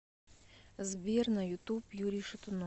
сбер на ютуб юрий шатунов